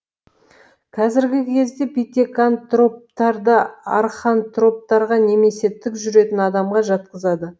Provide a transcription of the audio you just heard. қазіргі кезде питекантроптарды архантроптарға немесе тік жүретін адамға жатқызады